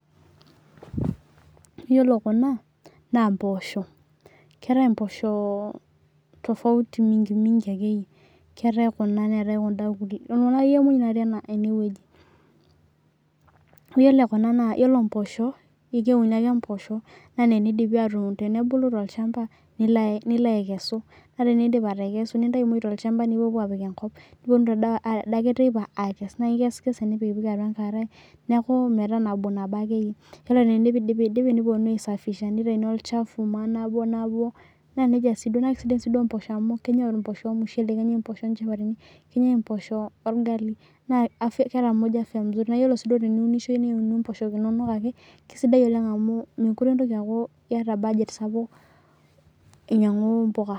Yiolo kuna naa mpoosho, keetae mpoosho tofauti mingi mingi akeyie .Keetae Kuna neetae kunda ,Kuna akeyie muj natii eneweji .Yiolo mpoosho keuni ake mpoosho yiolo teneidip atubulu tolchampa ,nilo aikesu naa tinindip atekesu nintayu muj ntolchampa nipuopuo apik enkop. Niponunu taa ade teipa aikes naa iksikese metaa nabo akeyie. Yiolo tenindipidipi niponunu aisafisha nitayuni olachafu akeyie .Naa sidan mpoosho amu kneyae mpoosho ormushele nenyae mpoosho onchapatini, nenyae mpoosho orgali naa keeta muj afya msuri. Naaa yiolo sii pee iunisho niunu mpooshok inonok ake .Kisidai oleng amu mookure intoki aata budget sapuk ainyangu mpuka.